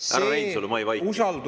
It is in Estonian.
Härra Reinsalu, ma ei vaidle teiega.